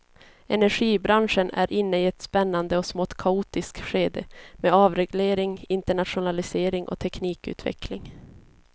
Energibranschen är inne i ett spännande och smått kaotiskt skede med avreglering, internationalisering och teknikutveckling.